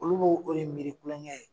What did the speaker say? Olu b'o de miri kulon kɛ ye.